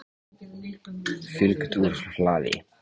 Fylgt úr hlaði